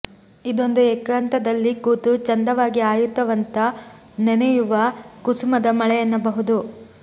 ಇದೊಂದು ಏಕಾಂತದಲಿ ಕೂತು ಚಂದವಾಗಿ ಆಯುವಂತ ನೆನಪಿನ ಕುಸುಮದ ಮಳೆ ಎನ್ನಬಹುದು